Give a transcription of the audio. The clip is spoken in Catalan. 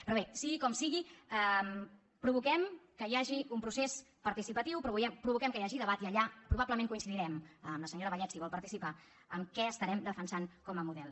però bé sigui com sigui provoquem que hi hagi un procés participatiu provoquem que hi hagi debat i allà probablement coincidirem amb la senyora vallet si hi vol participar en què estarem defensant com a model